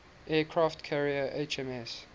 aircraft carrier hms